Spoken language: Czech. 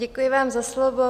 Děkuji vám za slovo.